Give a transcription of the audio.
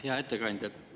Hea ettekandja!